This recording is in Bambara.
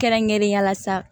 Kɛrɛnkɛrɛnnenya la sa